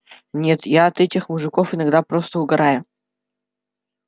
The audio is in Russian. нет я от этих мужиков иногда просто угораю